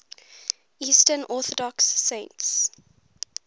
eastern orthodox saints